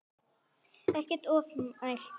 Ekkert ofmælt þar.